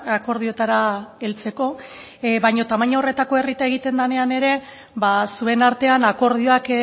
akordioetara heltzeko baina tamaina horretako errieta egiten denean ere zuen artean akordioak